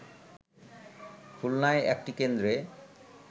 খুলনায় একটি কেন্দ্রে